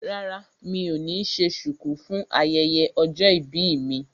Rárá mi ò ní ṣe ṣùkú fún ayẹyẹ ọjọ́ ìbí mi